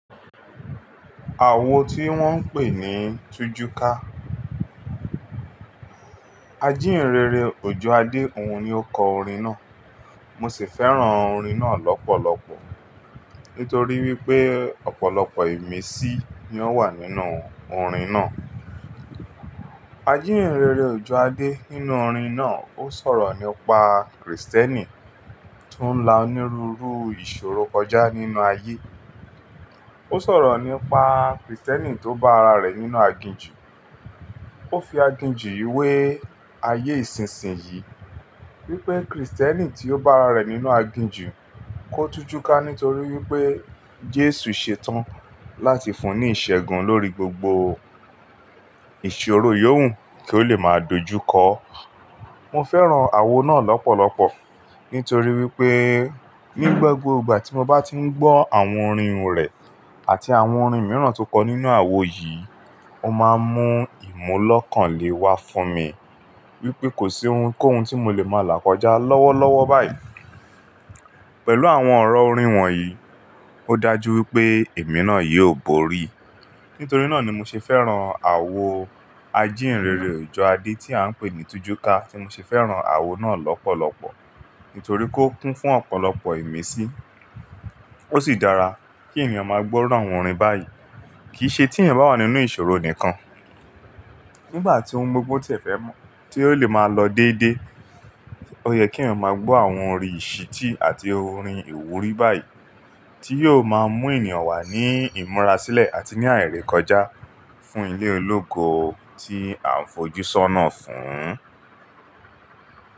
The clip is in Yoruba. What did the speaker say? Àwo tí wọ́n ń pè ní tujuka. Ajínrere Òjò Àdéhun ni ó kọ orin náà. Mo sì fẹ́ràn orin náà lọ́pọ̀lọpọ̀. Nítorí wí pé, ọ̀pọ̀lọpọ̀ ìmisí ni ó wà nínú orin náà. Ajínrere Òjò Àdé nínú orin náà, ó sọ̀rọ̀ nípa Krìstẹ́nì tó ń la onírúurú ìṣòro kọjá nínú ayé. Ó sọ̀rọ̀ nípa Krìstẹ́nì tó bá ara rẹ̀ nínú aginjù. Ó fi aginjù yíwé ayé isìnsìn yìí. Wípé Krìstẹ́nì tí ó bá ara rẹ̀ nínú aginjù kó tujuka nítorí wí pé, Jésù ṣe tán láti fún ní ìṣẹ́gun lórí gbogbo ìṣòro yóòhùn kí ó lè máa dojúkọ. Mo fẹ́ràn àwo náà lọ́pọ̀lọpọ̀. Nítorí wí pé, ní gbogbo ìgbà tí mo bá ti ń gbọ́ àwọn orin rẹ̀ àti àwọn orin mìíràn tó kọ nínú àwo yìí, ó máa ń mú ìmọ́lọ̀kànlé wà fún mi. Wípé kò sí ohunkóhun tí mo lè máa làkọjá lọ́wọ́lọ́wọ́ báyìí. Pẹ̀lú àwọn ọ̀rọ̀ orin wọ̀nyí, ó dájú wí pé ìmirànà yìí ò bóríi. Nítorí náà ni mo ṣe fẹ́ràn àwo Ajínrere Òjò Àdé tí à ń pè ní tujuka, ti mo ṣe fẹ́ràn àwo náà lọ́pọ̀lọpọ̀. Nítorí kó kún fún ọ̀pọ̀lọpọ̀ ìmisí. Ó sì dára kí ènìyàn máa gbọ́ àwọn orin báyìí. Kì í ṣe tí ènìyàn bá wà nínú ìṣòro nìkan. Nígbà tí ohun gbogbo tí ẹ fẹ́ mọ̀, tí ó lè máa lọ dééde. Ó yẹ kí ènìyàn máa gbọ́ àwọn orin ìṣití àti orin ìwúrí báyìí. Tí yóò máa mú ènìyàn wà ní ìmura-sílẹ̀ àti ní ààríkọjá fún ilé ológo tí a fojúṣónà fún.